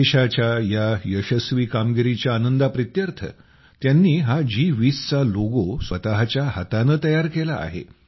देशाच्या या यशस्वी कामगिरीच्या आनंदा प्रीत्यर्थ त्यांनी जी20 चा हा लोगो स्वतःच्या हाताने तयार केला आहे